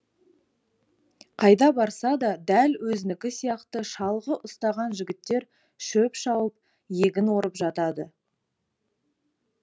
қайда барса да дәл өзінікі сияқты шалғы ұстаған жігіттер шөп шауып егін орып жатады